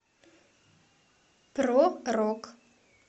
про рок